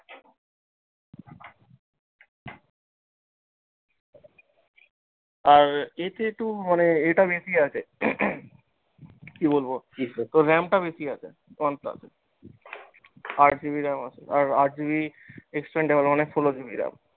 আর এতে একটু মানে এ টা বেশি আছে কি বলবো তোর ram টা বেশি আছে আরকি one plus এ। আট GB ram আছে, আর আট GB expandable মানে ষোলো GB ram